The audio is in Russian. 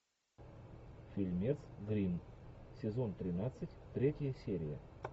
фильмец гримм сезон тринадцать третья серия